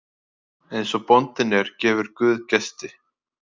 Eins og bóndinn er gefur guð gesti.